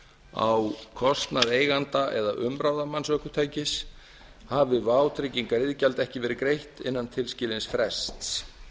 á kostnað eiganda eða umráðamanns ökutækis hafi vátryggingariðgjald ekki verið greitt innan tilskilins frests